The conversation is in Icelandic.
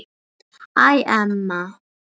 Æ, Elma.